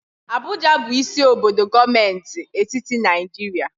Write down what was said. Abuja bụ isi obodo gọọmenti etiti Naịjirịa.